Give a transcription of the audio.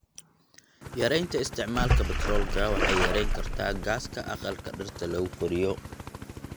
Yaraynta isticmaalka batroolka waxay yarayn kartaa gaaska aqalka dhirta lagu koriyo.